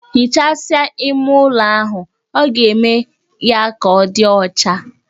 Hichasia ime ụlo ahụ, ọ ga-eme ya ka ọ di ọcha